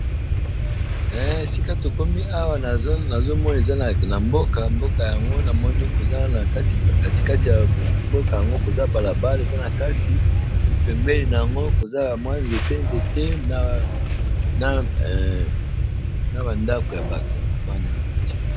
Sika tokomi awa nazomoni ezana mboka mboka yango namoni kozala na tkatikati ya mboka yango koza balabal eza na kati ebpembeli na yango koza bamwa nzete nzete na bandako ya bato ya kofanda na kati.